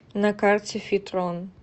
на карте фитрон